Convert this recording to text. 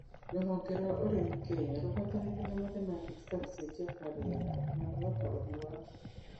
Rũhonge rwa ũrĩmi Kenya rũgwatanĩte na mathematics ta gũcenjia kwa rĩera na kwĩhoka ũrĩmi wa mbura